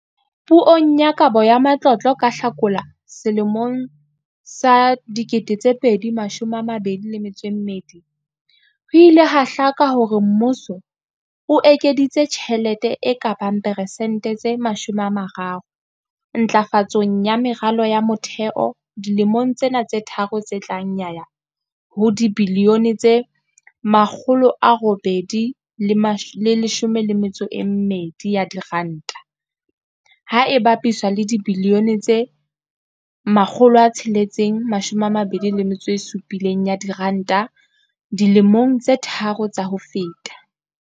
Puong ya Kabo ya Matlotlo ka Hlakola 2022, ho ile ha hlaka hore mmuso o ekeditse tjhelete e ka bang persente tse 30 ntlafatsong ya meralo ya motheo dilemong tsena tse tharo tse tlang ya ya ho dibilione tse R812, ha e bapiswa le dibilione tse R627 dilemong tse tharo tsa ho feta.